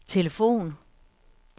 telefon